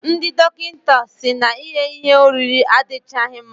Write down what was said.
Ndị dọkịta si na ighe ihe oriri adichaghi mma.